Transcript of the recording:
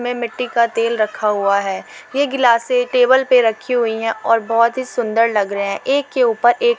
मै मिट्टी का तेल रखा हुआ है| ये ग्लासे टेबल पे रखी हुई है और बहुत ही सुंदर लग रहे है। एक के ऊपर एक --